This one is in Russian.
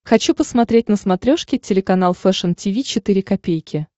хочу посмотреть на смотрешке телеканал фэшн ти ви четыре ка